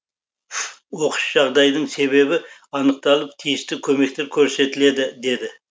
оқыс жағдайдың себебі анықталып тиісті көмектер көрсетіледі деді